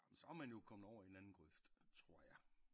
Ah men så er man jo kommet over i en anden grøft tror jeg